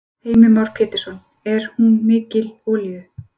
Heimir Már Pétursson: Er hún mikil olíu?